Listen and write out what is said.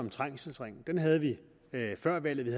og trængselsringen den havde vi før valget